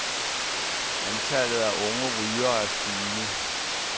Antallet af unge rygere er stigende.